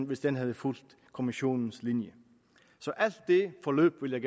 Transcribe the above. hvis den havde fulgt kommissionens linje så alt i det forløb vil jeg